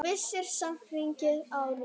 Vissara samt að hringja áður.